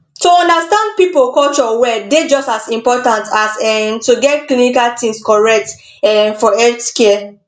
to understand people culture well dey just as important as um to get clinical things correct um for healthcare